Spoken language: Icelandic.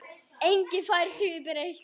Enginn fær því breytt.